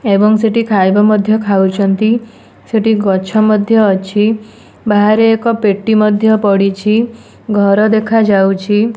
ଏବଂ ସେଠି ଖାଇବା ମଧ୍ୟ ଖାଉଛନ୍ତି। ସେଠି ଗଛ ମଧ୍ୟ ଅଛି। ଷ ବାହାରେ ଏକ ପେଟି ମଧ୍ୟ ପଡ଼ିଛି। ଘର ଦେଖାଯାଉଛି।